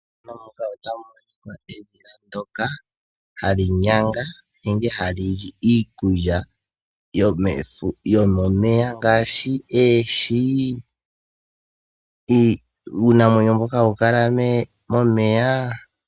Methano muka Ota mu Monika edhila ndoka hali nyanga nenge ha Lili iikulya yomefu yomomeya ngaashi eeshi, uunamwenyo mboka hawu kala momeya.